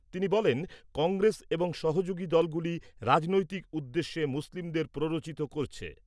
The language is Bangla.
তিনি বলেন , কংগ্রেস এবং সহযোগী দলগুলি রাজনৈতিক উদ্দেশ্যে মুসলিমদের প্ররোচিত করছে।